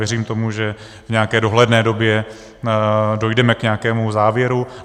Věřím tomu, že v nějaké dohledné době dojdeme k nějakému závěru.